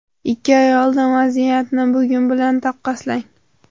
Ikki oy oldingi vaziyatni bugun bilan taqqoslang.